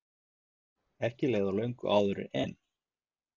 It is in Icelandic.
Ekki leið á löngu áður en